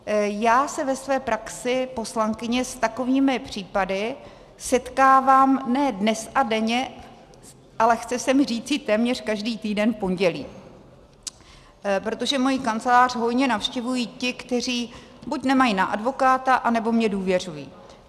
Já se ve své praxi poslankyně s takovými případy setkávám ne dnes a denně, ale chce se mi říci téměř každý týden v pondělí, protože moji kancelář hojně navštěvují ti, kteří buď nemají na advokáta, anebo mi důvěřují.